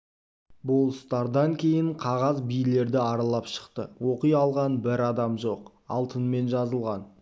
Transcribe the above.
болыстардан кейін қағаз билерді аралап шықты оқи алған бір адам жоқ алтынмен жазылған